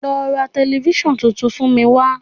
Lọ ra tẹlifísàn tuntun fún mi wá